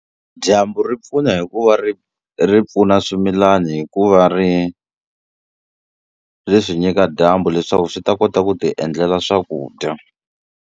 Dyambu ri pfuna hi ku va ri ri pfuna swimilani hi ku va ri ri swi nyika dyambu leswaku swi ta kota ku ti endlela swakudya.